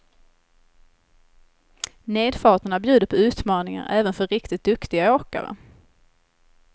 Nedfarterna bjuder på utmaningar även för riktigt duktiga åkare.